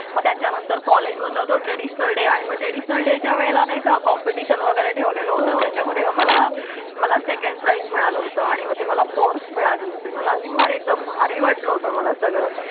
मग त्याच्यानंतर कॉलेजमधला तो ट्रेडिशनल डे आहे. ट्रॅडिशनल डेच्या वेळेला नाही का? कॉम्पिटिशन वगैरे ठेवलेला होता त्याच्यामध्ये मला मला सेकंड प्राइस मिळालं होतं आणि मग ती मला फोर्स मिळाली होती. मला तुम्हाला एकदम भारी वाटलं होतं मला सगळं.